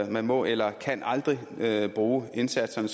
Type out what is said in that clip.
man må eller kan aldrig bruge indsatserne